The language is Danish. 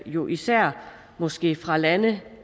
jo især måske fra lande